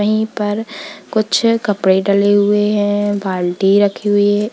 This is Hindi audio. यहीं पर कुछ कपड़े डले हुए हैं बाल्टी रखी हुई है।